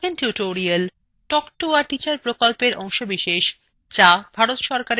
spoken tutorial spoken tutorial talk to a teacher প্রকল্পের অংশবিশেষ